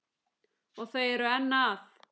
Og þau eru enn að.